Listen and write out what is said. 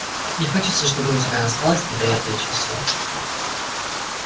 не хочется чтобы у тебя осталось неприятное чувство